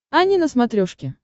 ани на смотрешке